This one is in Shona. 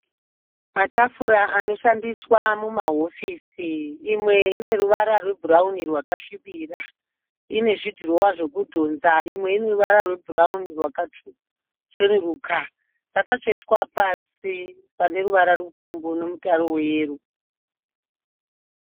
Matafura anoshandiswa mumahofisi. Imwe ineruvara rwebhurawuni rwakasvibira, ine zvidhirowa zvekudhonza. Imwe ineruvara rwakacheneruka. Dzakatsvetwa pasi paneruvara rupfumbu nemutaro weyero.